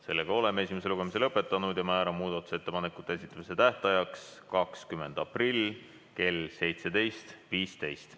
Sellega oleme esimese lugemise lõpetanud ja määran muudatusettepanekute esitamise tähtajaks 20. aprilli kell 17.15.